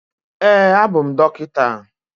Ee, abụ m dọkịta